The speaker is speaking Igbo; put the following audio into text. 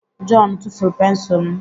John tụfuru pensụl m.